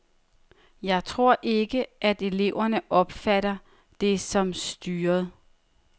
Jeg tror ikke, at eleverne opfatter det som styret.